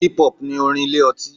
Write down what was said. Hip-hop ni orin ilé ọtí.